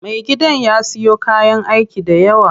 Me gidan ya siyo kayan aiki dayawa.